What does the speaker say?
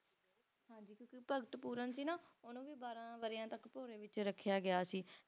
Bhagat Pooran ਸੀ ਨਾ ਓਹਨੂੰ ਵੀ ਬਾਰਾਂ ਵਰ੍ਹਿਆਂ ਦਾ ਭੋਰੇ ਵਿੱਚ ਰੱਖਿਆ ਗਿਆ ਸੀ